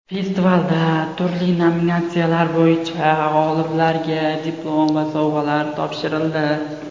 Festivalda turli nominatsiyalar bo‘yicha g‘oliblarga diplom va sovg‘alar topshirildi.